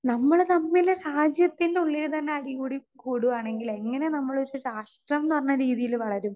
Speaker 2 നമ്മള് തമ്മില് രാജ്യത്തിന്റെ ഉള്ളില് അടികൂടി കൂടുകയാണെങ്കിൽ എങ്ങനെ നമ്മള് സ്വരാഷ്ട്രം ന്ന് പറഞ്ഞ രീതിയില് വളരും.